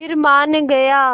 फिर मान गया